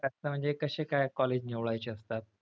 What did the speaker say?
कस म्हणजे कसे काय college निवडायचे असतात?